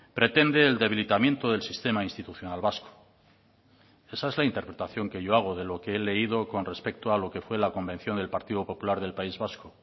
pretende el debilitamiento del sistema institucional vasco esa es la interpretación que yo hago de lo que he leído con respecto a lo que fue la convención del partido popular del país vasco